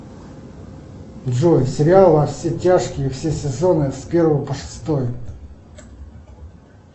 джой сериал во все тяжкие все сезоны с первого по шестой